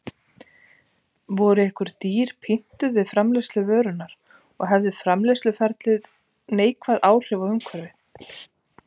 Voru einhver dýr pyntuð við framleiðslu vörunnar og hafði framleiðsluferlið neikvæð áhrif á umhverfið?